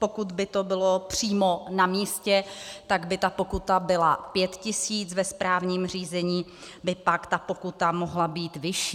Pokud by to bylo přímo na místě, tak by ta pokuta byla 5 tisíc, ve správním řízení by pak ta pokuta mohla být vyšší.